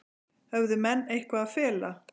Höfðu menn eitthvað að fela?